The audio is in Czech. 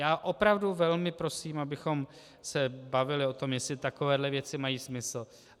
Já opravdu velmi prosím, abychom se bavili o tom, jestli takovéhle věci mají smysl.